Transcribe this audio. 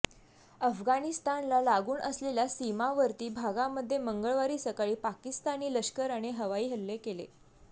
अफगाणिस्तानला लागून असलेल्या सीमावर्ती भागामध्ये मंगळवारी सकाळी पाकिस्तानी लष्कराने हवाई हल्ले केले